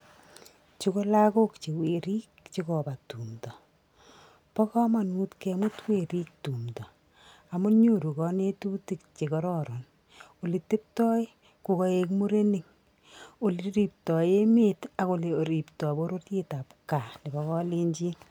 chuu ko lagok che werik cho kobaa tumdoo, baa kamaut kemut werik tumdoo amu nyoruu kanenutik che kararak, oleteptai yakoek murenik ole reptai emet ak ole reptai borororiet ab kaa nebaa kalenjin.